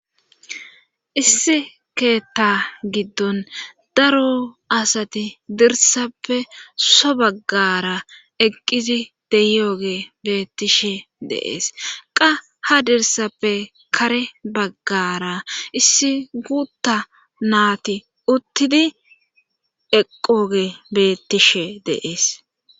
Issi keetta giddon daro asati dirsappe so baggara eqqizi deyooge beettishe deees qa ha dirsappe kare baggara issi guutta naati uttidi eqqooge bettishe deees.